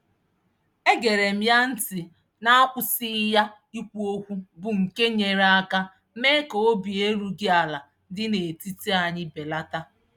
E gere m ya ntị n'akwụsịghị ya ikwu okwu bụ nke nyere aka mee ka obi erughị ala dị n'etiti anyị belata.